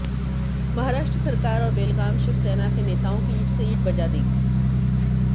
महाराष्ट्र सरकार और बेलगाम शिवसेना के नेताओं की ईंट से ईंट बजा देगी